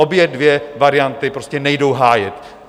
Obě dvě varianty prostě nejdou hájit.